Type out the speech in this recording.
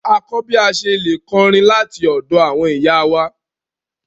À kọ bí à sẹ̀ lẹ̀ kọrín lati òdo àwọn ìyá wa.